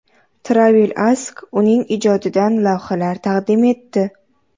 Travel Ask uning ijodidan lavhalar taqdim etdi.